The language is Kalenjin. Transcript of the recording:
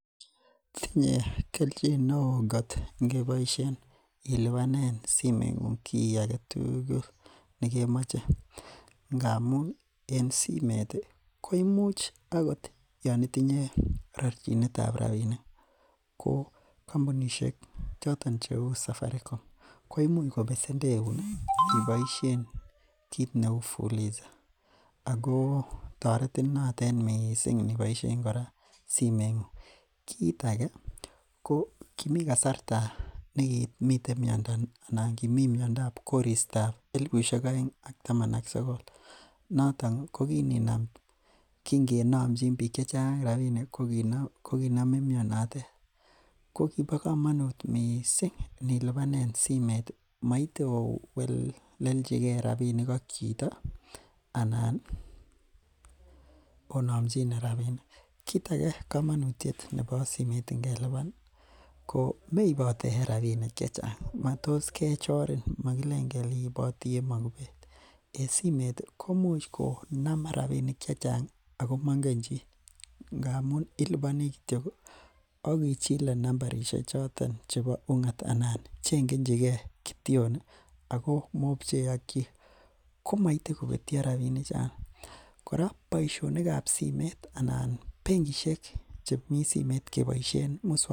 tinye kelchi neoo ngot keboishen ilibanen simeet nguung kiagetugul negemoche, ngamuun en simeet iih koimuch agot yon itinye rochinet ab rabinik ko kombunishek choton cheuu safaricom koimuch kobesendeun iih iboishen kiit neuu fuliza ago toretin notet mising niboishen koraa simeet nguung, kiit age ko kimikasarta negimiten myondo anan kimii myondiab koristo ab elifushek oeng iih ak taman ak sogol, noton ko kininam kingenomchin biik rabinik koginomin myonotet kogibo komonuut mising nilibanen simeet iih moite owelechigee rabinik ak chito anan onomchine rabinik, kiit age nebo komonutyeet en simoit ngelibaan iih ko meibote rabinik chechang matos kechoriin mogileen iiboti en magubeet, en simeet iih komuch konam rabinik chechang ago mongen chi ngamuun iliboni kityo ak ichile nambarishek choton chebo ungat iih anan chengechigeekityoon ago mobchee ak chi, komoite kobetyo rabinik chon, koraa boishonik ab simeet anan bengishek chemii simeet keboishen muswok,,,